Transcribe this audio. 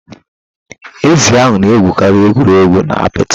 Ezi ahụ na egwuregwu na apịtị.